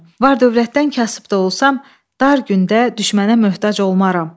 Var-dövlətdən kasıb da olsam, dar gündə düşmənə möhtac olmaram.